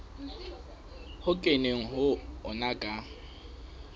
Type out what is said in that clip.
ho kenweng ho ona ka